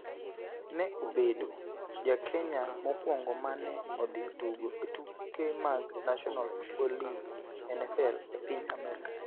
ne obedo Ja Kenya mokwongo ma ne odhi tugo e tuke mag National Football League (NFL) e piny Amerka.